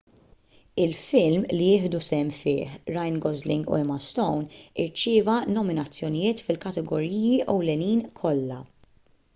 il-film li jieħdu sehem fih ryan gosling u emma stone irċieva nominazzjonijiet fil-kategoriji ewlenin kollha